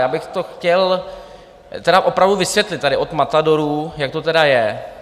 Já bych to chtěl tedy opravdu vysvětlit tady od matadorů, jak to tedy je.